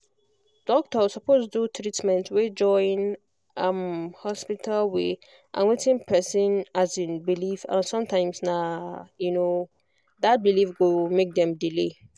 doctor suppose do treatment wey join um hospital way and wetin person um believe and sometimes na um that belief go make dem delay